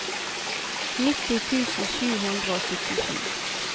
nitti tusen sju hundre og syttisju